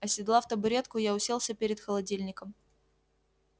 оседлав табуретку я уселся перед холодильником